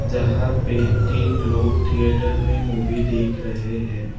जहा पे तीन लोग थिएटर में मूवी देख रहे हैं।